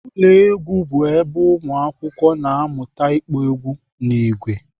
Ụlọ egwu bụ ebe ụmụakwụkwọ na-amụta ịkpọ egwu n'ìgwè